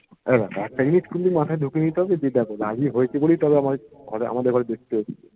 এবার দেখ একটা জিনিস কিন্তু মাথায় ঢুকিয়ে নিতে হবে যে দেখো রাজি হয়েছে বলেই তাহলে আমাদের ঘরে এসেছে